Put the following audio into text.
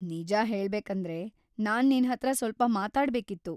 ನಿಜ ಹೇಳ್ಬೇಕಂದ್ರೆ, ನಾನ್ ನಿನ್ಹತ್ರ ಸ್ವಲ್ಪ ಮಾತಾಡ್ಬೇಕಿತ್ತು.